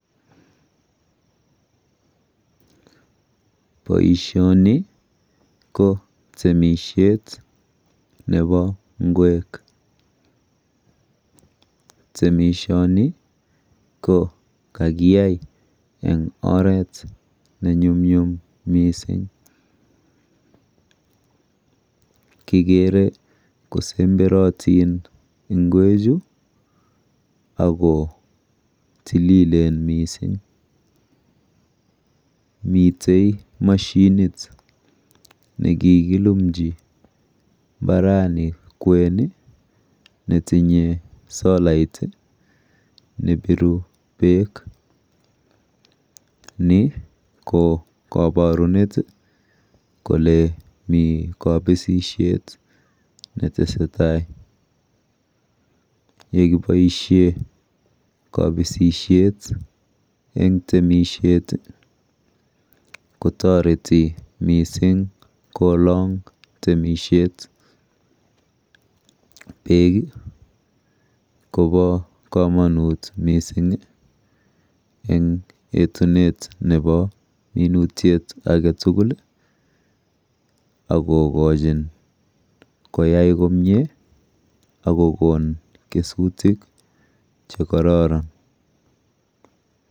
Poishoni ko temishet nepo ng'wek. Temishoni ko kakiyai eng oret nenyumnyum mising kikere kosemberotin ng'wechu ako tililen mising. Mitei mashinit nekikilumchi mbarani kwen netinye solait nepiru beek. Ni ko kabarunet kole mi kabisihet netesetai. Yekiboishe kabisishet eng temishet kotoreti mising kolong temishet. Beek kopo komonut mising eng etunet nepo minutyet aketugul akokochin koyai komie akokon kesutik chekororon.